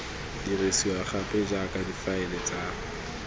dirisiwa gape jaaka difaele di